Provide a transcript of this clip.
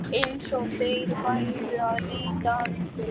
Eins og þeir væru að leita að einhverju.